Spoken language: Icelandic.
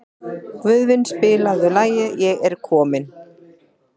Guðvin, spilaðu lagið „Ég er kominn“.